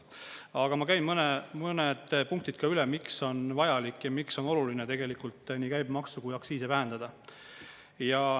Aga ma käin mõned punktid üle, miks on vajalik ja miks on oluline tegelikult nii käibemaksu kui aktsiisi vähendada.